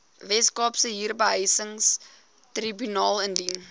weskaapse huurbehuisingstribunaal indien